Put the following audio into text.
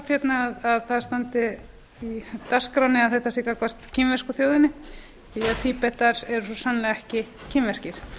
að það standi í dagskránni að þetta sé gagnvart kínversku þjóðinni því að tíbetar eru svo sannarlega kínverskir